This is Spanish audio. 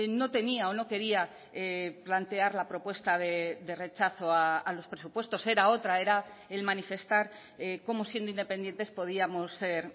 no tenía o no quería plantear la propuesta de rechazo a los presupuestos era otra era el manifestar cómo siendo independientes podíamos ser